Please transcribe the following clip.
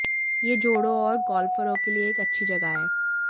यह जोड़ों और गोल्फरों के लिए एक अच्छी जगह है